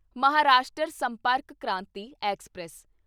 Maharashtra Sampark Kranti express